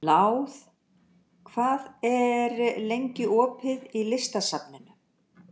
Náð, hvað er lengi opið í Listasafninu?